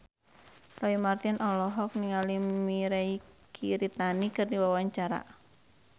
Roy Marten olohok ningali Mirei Kiritani keur diwawancara